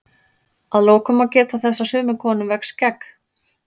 að lokum má geta þess að sumum konum vex skegg